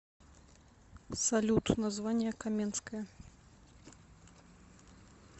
салют название каменское